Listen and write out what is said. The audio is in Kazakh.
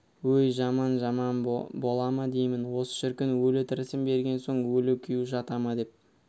өй жаман жаман бола ма деймін осы шіркін өлі-тірісін берген соң өлі күйеу жата ма деп